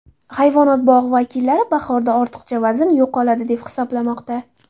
Hayvonot bog‘i vakillari bahorda ortiqcha vazn yo‘qoladi, deb hisoblamoqda.